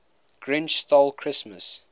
grinch stole christmas